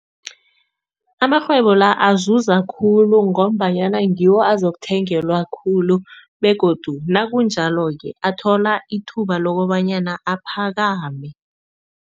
Amarhwebo la azuza khulu ngombanyana ngiwo azokuthengelwa khulu begodu nakunjalo-ke athola ithuba lokobanyana aphakame.